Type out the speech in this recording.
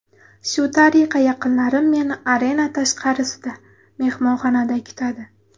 Shu tariqa yaqinlarim meni arena tashqarisida, mehmonxonada kutadi.